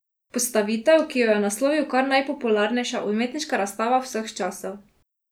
Postavitev, ki jo je naslovil kar Najpopularnejša umetniška razstava vseh časov!